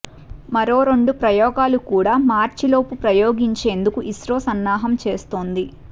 మరో రెండు ప్రయోగాలు కూడా మార్చిలోపు ప్రయోగించేందుకు ఇస్రో సన్నాహం చేస్తోంది